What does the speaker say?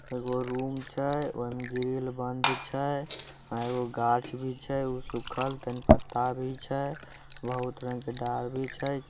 एगो रूम छै ओय मे ग्रिल बंद छै एगो गाछ वृक्ष छै उ सुखल ते में पत्ता भी छै बहुत रंग के डार भी छै।